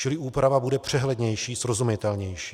Čili úprava bude přehlednější, srozumitelnější.